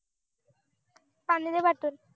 आणी दे पाठवून